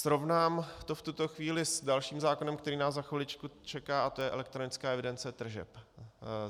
Srovnám to v tuto chvíli s dalším zákonem, který nás za chviličku čeká, a to je elektronická evidence tržeb.